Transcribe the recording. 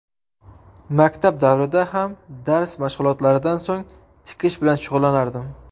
Maktab davrida ham dars mashg‘ulotlaridan so‘ng tikish bilan shug‘ullanardim.